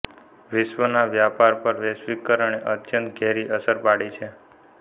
વિશ્વના વ્યાપાર પર વૈશ્વિકરણે અત્યંત ઘેરી અસર પાડી છે